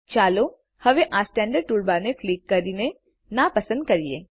ચાલો હવે આ સ્ટેન્ડર્ડ ટૂલબારને ક્લિક કરીએ નાપસંદ કરીએ